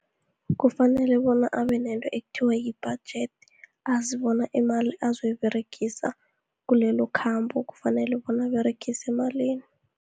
Kufanele bona abenento ekuthiwa yibhajedi, azibona imali azoyiberegisa kulelo khambo kufanele bona aberegise malini.